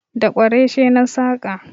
Da Kwarashe na saƙa